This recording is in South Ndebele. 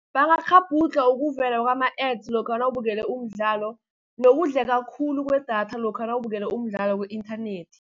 Bangakghabhudlha ukuvela kwama-A_d_s, lokha nawubukele umdlalo, nokudleka khulu kwedatha lokha nawubukele umdlalo ku-inthanethi.